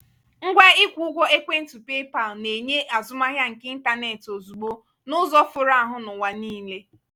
ngwa ịkwụ ụgwọ ekwentị paypal na-enye azụmahịa nke ịntanetị ozugbo n'ụzọ foro ahụ n'ụwa niile.